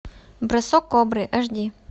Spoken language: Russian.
бросок кобры аш ди